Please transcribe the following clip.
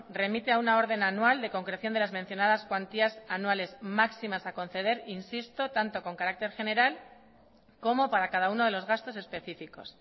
remite a una orden anual de concreción de las mencionadas cuantías anuales máximas a conceder insisto tanto con carácter general como para cada uno de los gastos específicos